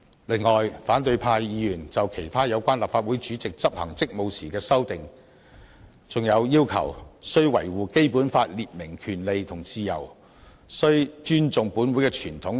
此外，反對派議員就立法會主席執行職務提出修訂，包括"須維護《基本法》列明的權利與自由"及"須尊重本會之傳統"等。